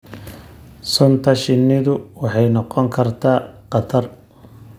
Sunta shinnidu waxay noqon kartaa khatar.